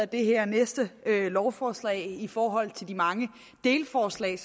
det her næste lovforslag i forhold til de mange delforslag